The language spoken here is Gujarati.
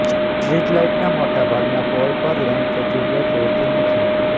સ્ટ્રીટલાઈટના મોટાભાગના પોલ પર લેમ્પ કે ટયુબલાઈટ હોતી નથી